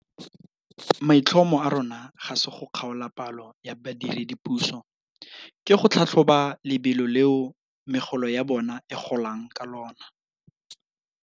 Maitlhomo a rona ga se go kgaola palo ya badiredipuso, ke go tlhatlhoba lebelo leo megolo ya bona e golang ka lona.